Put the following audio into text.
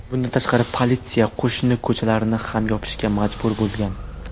Bundan tashqari, politsiya qo‘shni ko‘chalarni ham yopishga majbur bo‘lgan.